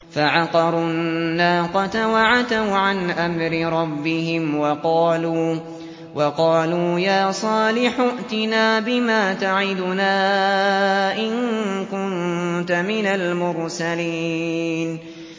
فَعَقَرُوا النَّاقَةَ وَعَتَوْا عَنْ أَمْرِ رَبِّهِمْ وَقَالُوا يَا صَالِحُ ائْتِنَا بِمَا تَعِدُنَا إِن كُنتَ مِنَ الْمُرْسَلِينَ